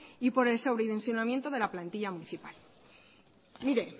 y por el sobredimensionamiento de la plantilla municipal